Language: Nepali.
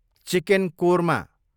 चिकेन कोरमा